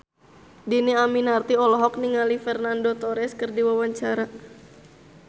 Dhini Aminarti olohok ningali Fernando Torres keur diwawancara